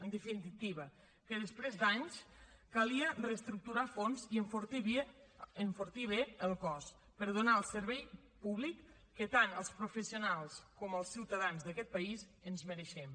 en definitiva que després d’anys calia reestructurar a fons i enfortir bé el cos per donar el servei públic que tant els professionals com els ciutadans d’aquest país ens mereixem